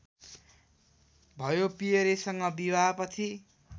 भयो पियरेसँग विवाहपछि